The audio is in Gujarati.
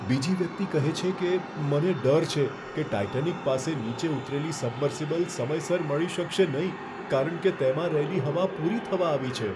બીજી વ્યક્તિ કહે છે કે, મને ડર છે કે ટાઈટેનિક પાસે નીચે ઉતરેલી સબમર્સિબલ સમયસર મળી શકશે નહીં, કારણ કે તેમાં રહેલી હવા પૂરી થવા આવી છે.